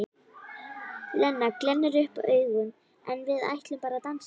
Lena glennir upp augun: En við ætlum bara að dansa.